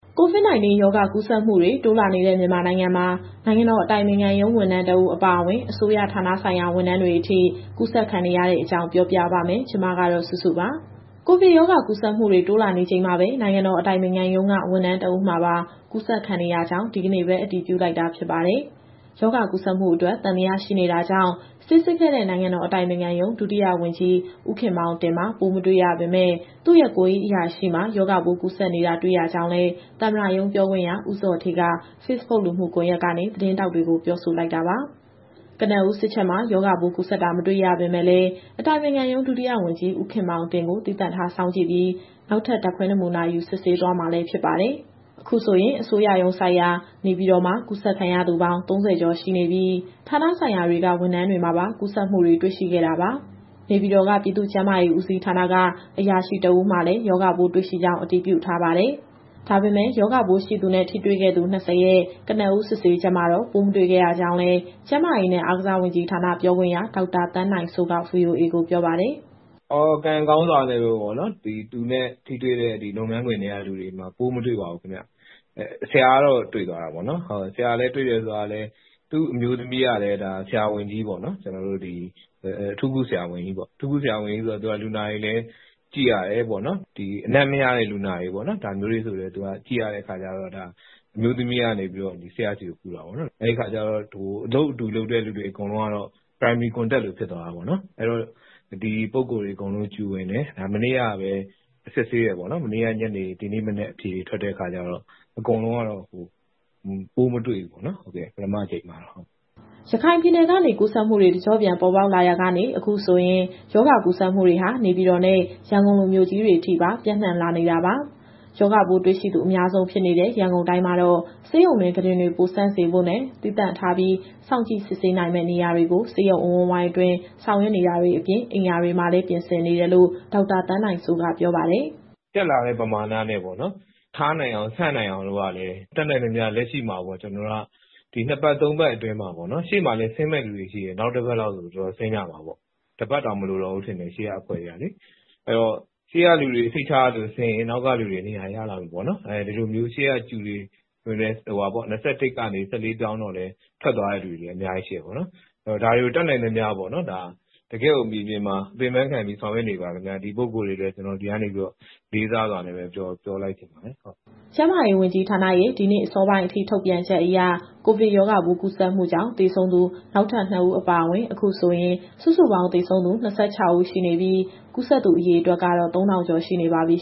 COVID - 19 ရောဂါ ကူးစက်မှုတွေ တိုးလာနေတဲ့ မြန်မာနိုင်ငံမှာ နိုင်ငံတော်အတိုင်ပင်ခံရုံး ဝန်ထမ်းတဦးအပါအဝင် အစိုးရဌာနဆိုင်ရာ ဝန်ထမ်းတွေအထိ ကူးစက်ခံနေရတဲ့အကြောင်း ပြောပြပါမယ်။ ဒီသတင်းကို ဗွီအိုအေမြန်မာပိုင်း သတင်းထောက်စုစုက တင်ဆက်ပေးမှာပါ။ ကိုဗစ်ရောဂါ ကူးစက်မှုတွေ တိုးလာနေချိန်မှာပဲ နိုင်ငံတော် အတိုင်ပင်ခံရုံးက ဝန်ထမ်းတဦးမှာပါ ကူးစက်ခံနေရကြောင်း ဒီကနေ့ပဲ အတည်ပြုလိုက်တာ ဖြစ်ပါတယ်။ ရောဂါကူးစက်မှုအတွက် သံသယရှိတာကြောင့် ဆေးစစ်ခဲ့တဲ့ နိုင်ငံတော်အတိုင်ပင်ခံရုံး ဒုတိယဝန်ကြီး ဦးခင်မောင်တင်မှာ ပိုးမတွေ့ရပေမဲ့ သူ့ရဲ့ကိုယ်ရေးအရာရှိမှာ ရောဂါပိုးကူးစက်နေတာ တွေ့ရကြောင်းလည်း သမ္မတရုံးပြောခွင့်ရ ဦးဇော်ဌေးက Facebook လူမှုကွန်ရက်ကနေ သတင်းထောက်တွေကို ပြောဆိုလိုက်တာပါ။ ကနဦးစစ်ချက်မှာ ရောဂါပိုးကူးစက်တာ မတွေ့ရပေမဲ့လည်း အတိုင်ပင်ခံရုံး ဒုတိယဝန်ကြီး ဦးခင်မောင်တင်ကို သီးသန့်ထားစောင့်ကြည့်ပြီး နောက်ထပ်ဓာတ်ခွဲနမူနာယူ စစ်ဆေးသွားမှာလည်း ဖြစ်ပါတယ်။ အခုဆိုရင် အစိုးရရုံးစိုက်ရာ နေပြည်တော်မှာ ကူးစက်ခံရသူပေါင်း ၃၀ ကျော်ရှိနေပြီး ဌာနဆိုင်ရာ်တွေက ဝန်ထမ်းတွေမှာပါ ကူးစက်မှုတွေ တွေ့ရှိခဲ့တာပါ။ နေပြည်တော်က ပြည်သူ့ကျန်းမာရေးဦးစီးဌာနက အရာရှိတဦးမှာလည်း ရောဂါပိုးတွေ့ရှိကြောင်း အတည်ပြုထားပါတယ်။ ဒါပေမဲ့ ရောဂါပိုးရှိသူနဲ့ ထိတွေ့ခဲ့သူ ၂၀ ရဲ့ ကနဦး စစ်ဆေးချက်မှာတော့ ပိုးမတွေ့ခဲ့ရကြောင်းလည်း ကျန်းမာရေးနဲ့အားကစားဝန်ကြီးဌာန ပြောခွင့်ရ ဒေါက်တာသန်းနိုင်စိုးက VOA ကိုပြောပါတယ်။ “ကံကောင်းစွာနဲ့ပဲ သူနဲ့ထိတွေ့တဲ့ လုပ်ငန်းခွင်ထဲကလူတွေမှာ ပိုးမတွေ့ပါဘူး ခင်ဗျ။ ဆရာကတော့ တွေ့သွားတာပေါ့နော်။ ဆရာ့မှာ တွေ့တယ်ဆိုတာကလည်း သူ့အမျိုးသမီးကလည်း ဆရာဝန်ကြီးပေါ့နော်။ အထူးကုဆရာဝန်ကြီးဆိုတော့ သူက အနံ့မရတဲ့ လူနာတွေကိုဆိုလည်း ကြည့်ရတဲ့အခါကျတော့ သူ့အမျိုးသမီးကနေ ဆရာ့ဆီကို ကူးတာပေါ့နော်။ အလုပ်အတူလုပ်တဲ့သူတွေ အကုန်လုံးကတော့ Primary Contact လိုဖြစ်သွားတာပေါ့။ အဲတော့ ဒီပုဂ္ဂိုလ်အကုန်လုံး Q ဝင်တယ်။ မနေ့ညနေ စစ်ဆေးပြီး ဒီနေ့မနက်အဖြေထွက်တဲ့အခါကျတော့ အကုန်လုံးကတော့ ပိုးမတွေ့ဘူးပေါ့နော်။ ဒါ ပထမအကြိမ်မှာပေါ့။” ရခိုင်ပြည်နယ်ကနေ ကူးစက်မှုတွေ တကျော့ပြန် ပေါ်ပေါက်လာရာက အခုဆိုရင် ရောဂါကူးစက်မှုတွေဟာ နေပြည်တော်နဲ့ ရန်ကုန်လို မြို့ကြီးတွေအထိ ပျံ့နှံ့လာနေတာပါ။ ရောဂါပိုးတွေ့ရှိသူ အများဆုံးဖြစ်နေတဲ့ ရန်ကုန်တိုင်းမှာတော့ ဆေးရုံတွင်း ကုတင်တွေ ပိုဆံ့စေဖို့နဲ့ သီးသန့်ထားပြီး စောင့်ကြည့်စစ်ဆေးနိုင်မယ့် နေရာတွေကို ဆေးရုံအဝန်းဝိုင်းတွင်း ဆောင်ရွက်နေတာအပြင် အိမ်ယာတွေမှာလည်း ပြင်ဆင်နေတယ်လို့ ဒေါက်တာသန်းနိုင်စိုးက ပြောပါတယ်။ “တက်လာတဲ့ပမာဏနဲ့ ထားနိုင်အောင် ဆံ့နိုင်အောင် တတ်နိုင်သမျှ လက်ရှိမှာ ကျနော်တို့က ဒီနှစ်ပတ် သုံးပတ်အတွင်းမှာ ရှေ့မှာလည်း ဆင်းမယ့်သူတွေက ရှိတယ်။ နောက်တပတ်လောက်ဆို သူတို့ဆင်းကြမှာပေါ့။ တပတ်တောင်မလိုတော့ဘူး ထင်တယ် ရှေ့ကအဖွဲ့တွေကလေ။ အဲဒါတော့ ရှေ့ကလူတွေ စိတ်ချရလို့ ဆင်းရင် နောက်ကလူတွေ နေရာရလာမှာပေါ့နော်။ ဒီလိုမျိုး ရှေ့က Q တွေ ၂၁ ကနေ ၁၄ ပြောင်းတော့လည်း ထွက်သွားတဲ့သူတွေလည်း အများကြီးရှိတယ်ပေါ့နော်။ ဒါတွေကို တတ်နိုင်သမျှ တကယ့်ကိုမြေပြင်မှာ ဆောင်ရွက်နေပါတယ်ခင်ဗျ။ ဒီပုဂ္ဂိုလ်တွေကိုလည်း ကျနော်ဒီကနေပြီးတော့ လေးစားစွာပြောချင်ပါတယ်။” ကျန်းမာရေးဝန်ကြီးဌာနရဲ့ ဒီနေ့အစောပိုင်းအထိ ထုတ်ပြန်ချက်အရ ကိုဗစ်ရောဂါပိုး ကူးစက်မှုကြောင့် သေဆုံးသူ နောက်ထပ် ၆ ဦး အပါအဝင် အခုဆိုရင် စုစုပေါင်း သေဆုံးသူ ၃၂ ဦး ရှိနေပြီး ကူးစက်သူ အရေအတွက်ကတော့ ၃,၁၉၅ ကျော် ရှိနေပါပြီ